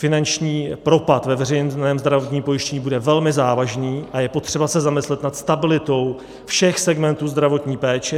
Finanční propad ve veřejném zdravotním pojištění bude velmi závažný a je potřeba se zamyslet nad stabilitou všech segmentů zdravotní péče.